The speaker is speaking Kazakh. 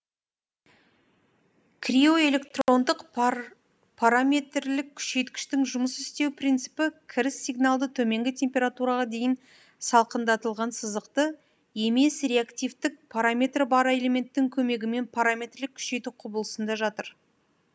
криоэлектрондык параметрлік күшейткіштің жұмыс істеу принципі кіріс сигналды төменгі температураға дейін салқындатылған сызықты емес реактивтік параметрі бар элементтің көмегімен параметрлік күшейту құбылысында жатыр